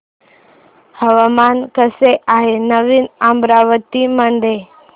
हवामान कसे आहे नवीन अमरावती मध्ये